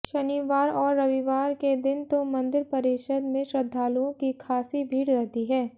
शनिवार और रविवार के दिन तो मंदिर परिसर में श्रद्धालुओं की खासी भीड़ रहती है